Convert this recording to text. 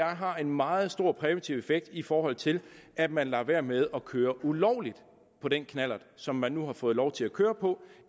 har en meget stor præventiv effekt i forhold til at man lader være med at køre ulovligt på den knallert som man nu har fået lov til at køre på